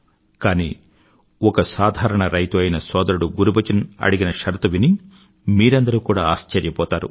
కానీ ఒక సాధారణ రైత్రు అయిన సోదరుడు గురుబచన్ అడిగిన షరతు విని మీరందరూ కూడా ఆశ్చర్యపోతారు